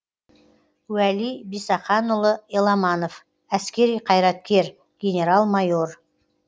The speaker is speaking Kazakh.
уәли бисақанұлы еламанов әскери қайраткер генерал майор